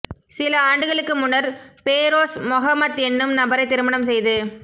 சில ஆண்டுகளுக்கு முன்னர் பேரொஸ் மொஹமத் என்னும் நபரை திருமணம் செய்து